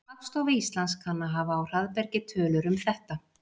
Hagstofa Íslands kann að hafa á hraðbergi tölur um þetta.